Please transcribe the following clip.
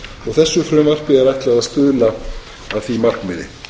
og þessu frumvarpi er ætlað að stuðla að því markmiði